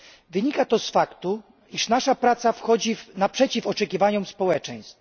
Wynika to z faktu, iż nasza praca wychodzi naprzeciw oczekiwaniom społeczeństw.